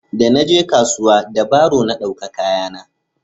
da na je kasuwa da baro na dauka kaya na